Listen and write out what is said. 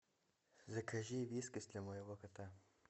закажи вискас для моего кота